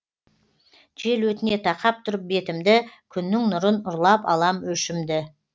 жел өтіне тақап тұрып бетімді күннің нұрын ұрлап алам өшімді